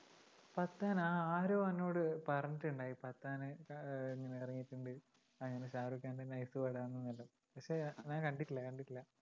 പത്താൻ ആ ആരോ എന്നോട് പറഞ്ഞിട്ടുണ്ടായി പത്താൻ ആഹ് ഇങ്ങനെ ഇറങ്ങിയിട്ടുണ്ട് ഇങ്ങനെ ഷാരൂഖ് ഖാൻ്റെ nice പടാന്നു എല്ലാം പക്ഷെ ഞാൻ കണ്ടിട്ടില്ല കണ്ടിട്ടില്ല